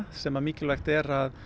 sem mikilvægt er að